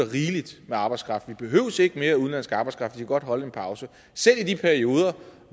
rigelig med arbejdskraft vi behøver ikke mere udenlandsk arbejdskraft vi kan godt holde en pause selv i de perioder